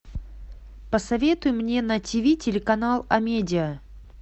посоветуй мне на тв телеканал амедиа